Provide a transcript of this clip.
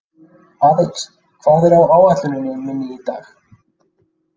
Aðils, hvað er á áætluninni minni í dag?